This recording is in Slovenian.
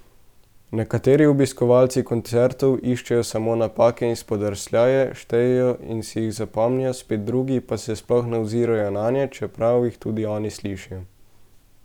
Nekateri obiskovalci koncertov iščejo samo napake in spodrsljaje, štejejo in si jih zapomnijo, spet drugi pa se sploh ne ozirajo nanje, čeprav jih tudi oni slišijo.